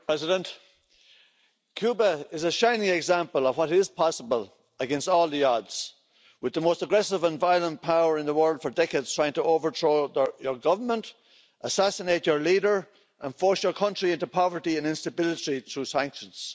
Madam President, Cuba is a shining example of what is possible against all the odds, with the most aggressive and violent power in the world for decades trying to overthrow your government, assassinate your leader and force your country into poverty and instability through sanctions